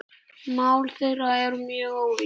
Mál þeirra eru mjög ólík.